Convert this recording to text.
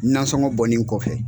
Nasɔngɔ bɔnen kɔfɛ.